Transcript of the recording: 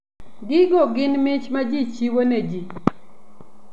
Gigo gin mich ma ji chiwo ne ji.